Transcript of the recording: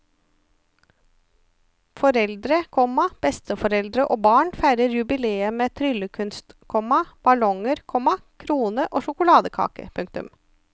Foreldre, komma besteforeldre og barn feirer jubileet med tryllekunst, komma ballonger, komma krone og sjokoladekake. punktum